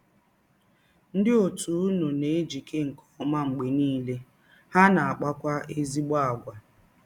Ndị òtù ụnụ na - ejike nke ọma mgbe niile, ha na - akpakwa ezịgbọ àgwà.